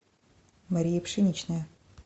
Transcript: мария пшеничная